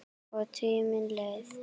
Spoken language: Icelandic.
Og tíminn leið.